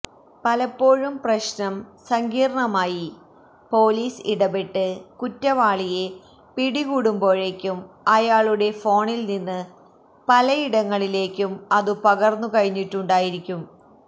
പലപ്പോഴും പ്രശ്നം സങ്കീർണമായി പൊലീസ് ഇടപെട്ട് കുറ്റവാളിയെ പിടികൂടുമ്പോഴേക്കും അയാളുടെ ഫോണിൽനിന്ന് പലയിടങ്ങളിലേക്കും അതു പകർന്നു കഴിഞ്ഞിട്ടുണ്ടായിരിക്കും